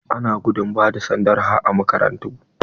Ana gudun ba da sanda har a makarantu.